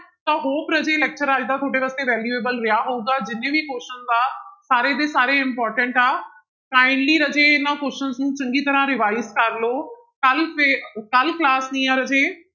ਤਾਂ hope ਰਾਜੇ lecture ਅੱਜ ਦਾ ਤੁਹਾਡੇ ਵਾਸਤੇ valuable ਰਿਹਾ ਹੋਵੇਗਾ, ਜਿੰਨੇ ਵੀ questions ਆ ਸਾਰੇ ਦੇ ਸਾਰੇ important ਆ kindly ਰਾਜੇ ਇਹਨਾਂ questions ਨੂੰ ਚੰਗੀ ਤਰ੍ਹਾਂ revise ਕਰ ਲਓ, ਕੱਲ੍ਹ ਫਿਰ ਕੱਲ੍ਹ class ਨੀ ਹੈ ਰਾਜੇ।